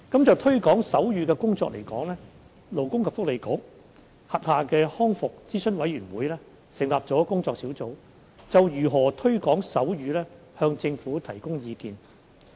就推廣手語的工作而言，勞工及福利局轄下的康復諮詢委員會成立了工作小組，就如何推廣手語向政府提供意見。